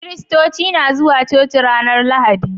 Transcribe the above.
Kiristoci na zuwa coci ranar lahadi